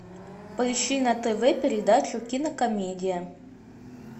поищи на тв передачу кинокомедия